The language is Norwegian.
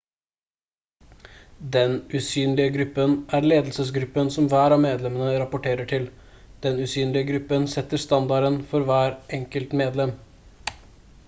den «usynlige gruppen» er ledelsesgruppen som hver av medlemmene rapporterer til. den usynlige gruppen setter standarden for hvert enkelt medlem